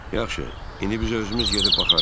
Yaxşı, indi biz özümüz gedib baxarıq.